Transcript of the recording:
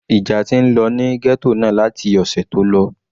Ìjà ti ń lọ ní ghetto náà láti ọ̀sẹ̀ tó lọ.